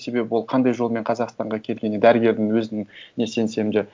себебі ол қандай жолмен қазақстанға келгені дәрігердің өзіне сенсем де